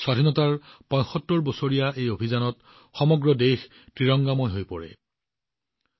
স্বাধীনতাৰ ৭৫ বছৰীয়া এই অভিযানত সমগ্ৰ দেশে ত্ৰিৰংগা ৰঙেৰে নিজকে বোলাই লৈছিল